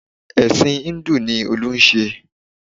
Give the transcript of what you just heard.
Ẹ̀sìn Híńdù ni Olú ń ṣe